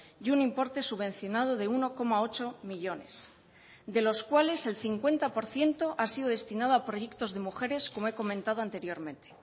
y un importe subvencionado de uno coma ocho millónes de los cuales el cincuenta por ciento ha sido destinado a proyectos de mujeres como he comentado anteriormente